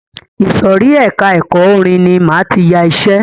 Ìsòrí ẹka ẹ̀kọ́ orin ní máa tí yá iṣẹ.